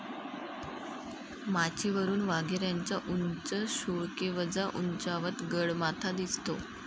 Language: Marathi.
माचीवरून वाघेऱ्याचा उंच सुळकेवजा उंचावत, गडमाथा दिसतो.